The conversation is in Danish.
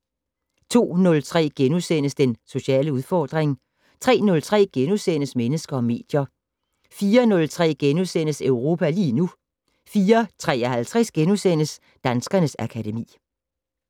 02:03: Den sociale udfordring * 03:03: Mennesker og medier * 04:03: Europa lige nu * 04:53: Danskernes akademi *